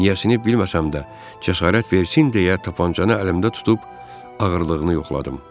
Niyəsini bilməsəm də, cəsarət versin deyə tapançanı əlimdə tutub ağırlığını yoxladım.